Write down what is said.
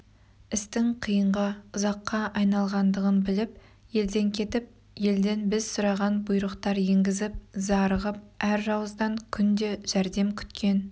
істің қиынға ұзаққа айналғандығын біліп елден келіп елден біз сұраған бұйрықтар енгізіп зарығып әр жауыздан күнде жәрдем күткен